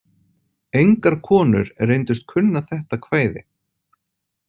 Engar konur reyndust kunna þetta kvæði.